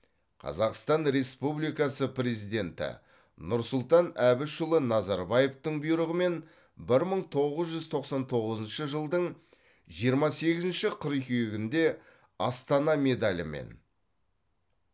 қазақстан республикасы президенті нұрсұлтан әбішұлы назарбаевтың бұйрығымен бір мың тоғыз жүз тоқсан тоғызыншы жылдың жиырма сегізінші қыркүйегінде астана медалімен